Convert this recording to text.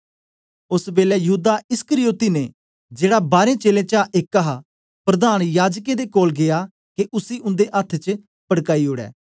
ओस बेलै यहूदा इस्करियोती ने जेड़ा बारें चेलें चा एक हा प्रधान याजकें दे कोल गीया के उसी उन्दे अथ्थ पडकाई ओड़े